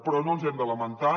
però no ens hem de lamentar